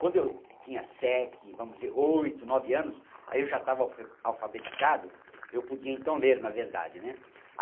Quando eu tinha sete, vamos dizer, oito, nove anos, aí eu já estava alfa alfabetizado, eu podia então ler na verdade né.